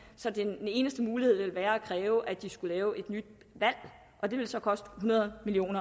så ville den eneste mulighed være at kræve at de skulle lave et nyt valg og det ville så koste hundrede million